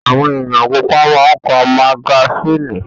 Àwọn ènìyàn púpọ̀ máa ń ká magasínì.